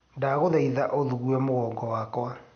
Ndagũthaĩtha ũthungue mũgongo wakwa